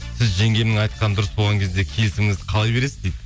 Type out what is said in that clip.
сіз жеңгемнің айтқаны дұрыс болған кезде келісіміңізді қалай бересіз дейді